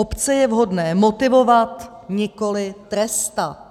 Obce je vhodné motivovat, nikoli trestat.